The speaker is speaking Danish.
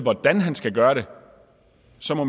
så